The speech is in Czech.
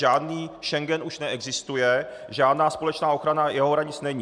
Žádný Schengen už neexistuje, žádná společná ochrana jeho hranic není.